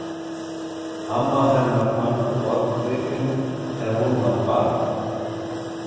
Amma hennar fann forngripinn þegar hún var barn.